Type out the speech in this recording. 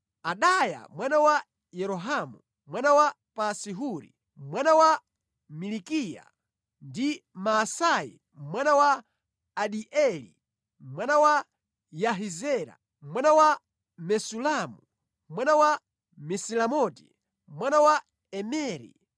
Adaya mwana wa Yerohamu, mwana wa Pasi-Huri, mwana wa Malikiya; ndi Maasai mwana wa Adieli, mwana wa Yahizera, mwana wa Mesulamu, mwana wa Mesilemoti, mwana wa Imeri.